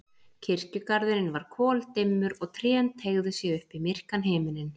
Kirkjugarðurinn var koldimmur og trén teygðu sig upp í myrkan himininn.